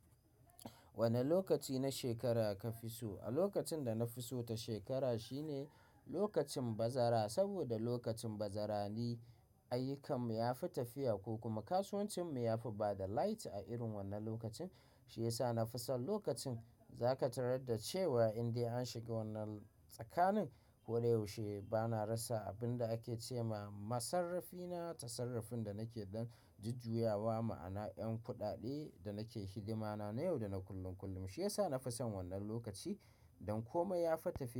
Wane lokaci na shekara ka fi so? A lokacin da na fi so ta shekara shine lokacin bazara. Saboda lokacin bazara ne ayyukan mu yafi tafiya ko kuma kasuwancin mu yafi bada light a irin wannan lokacin. Shiyasa na fi son lokacin. Za ka tarar da cewa in dai an shiga wannan tsakanin, ko da yaushe bana rasa abin da ake ce ma. Masarrafi na ta sarrafin da nake ɗan jujjuyawa ma'ana 'yan kuɗaɗe da nake hidima na, na yau da na kullum kullum. Shiyasa na fi son wannan lokaci ɗan kuma yafi tafiya.